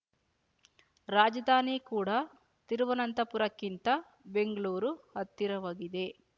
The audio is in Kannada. ರಾಜಧಾನಿ ಕೂಡಾ ತಿರುವನಂತಪುರಕ್ಕಿಂತ ಬೆಂಗ್ಳೂರು ಹತ್ತಿರವಾಗಿದೆ